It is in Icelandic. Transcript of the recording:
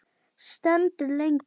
Stendur lengi.